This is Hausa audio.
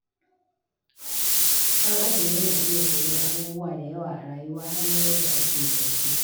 Ɗan'adam yana iya koyon abubuwa da yawa a rayuwa, har ma yadda ake zance.